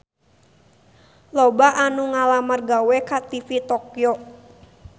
Loba anu ngalamar gawe ka TV Tokyo